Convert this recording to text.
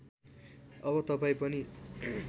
अब तपाईँ पनि